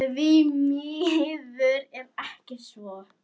Því miður er ekki svo.